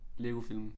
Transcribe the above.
LEGO Filmen